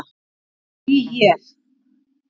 Ég bý hér.